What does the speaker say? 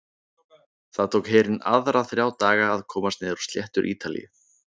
Það tók herinn aðra þrjá daga að komast niður á sléttur Ítalíu.